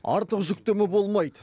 артық жүктеме болмайды